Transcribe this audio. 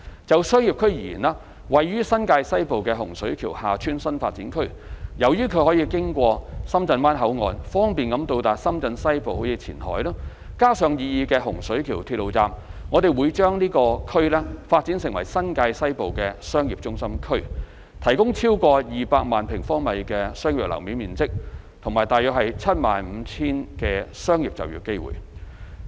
就商業區而言，位於新界西部的洪水橋/廈村新發展區，由於它可經深圳灣口岸，方便到達深圳西部如前海，加上擬議的洪水橋鐵路站，我們會把這區發展為新界西部的商業中心區，提供超過200萬平方米的商業樓面面積及約 75,000 個商業就業機會。